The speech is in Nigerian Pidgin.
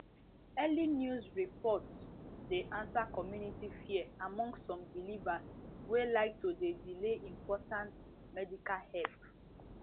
early news report dey answer community fear among some believers wey like to dey delay important medical help